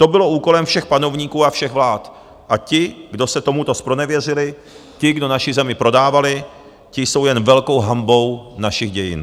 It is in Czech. To bylo úkolem všech panovníků a všech vlád a ti, kdo se tomuto zpronevěřili, ti, kdo naši zemi prodávali, ti jsou jen velkou hanbou našich dějin.